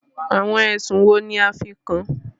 Àwọn ẹ̀sùn wo ní a fí kàn án?